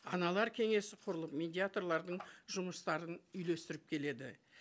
аналар кеңесі құрылып медиаторлардың жұмыстарын үйлестіріп келеді